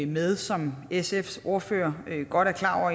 med som sfs ordfører godt er klar over